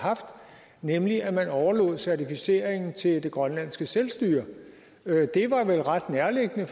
haft nemlig at man overlod certificeringen til det grønlandske selvstyre det var vel ret nærliggende